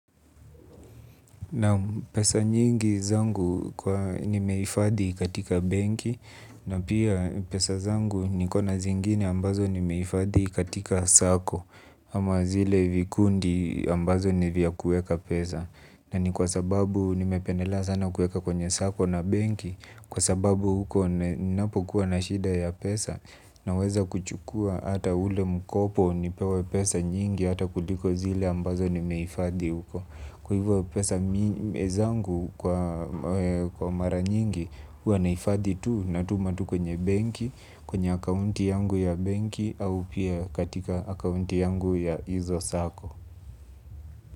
Pesa nyingi zangu nimeifadhi katika benki na pia pesa zangu nikona zingine ambazo nimeifadhi katika sacco. Ama zile vikundi ambazo nivya kueka pesa. Na ni kwa sababu nimependela sana kueka kwenye sacco na benki. Kwa sababu huko ninapo kuwa na shida ya pesa na weza kuchukua hata ule mkopo nipewe pesa nyingi hata kuliko zile ambazo nimeifadhi huko. Kwa hivyo pesa zangu kwa mara nyingi huwanaifathi tu na tumatu kwenye banki kwenye accounti yangu ya banki au pia katika accounti yangu ya hizo sacco.